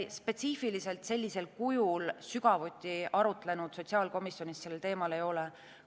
Me spetsiifiliselt sellisel kujul sotsiaalkomisjonis sellel teemal sügavuti arutlenud ei ole.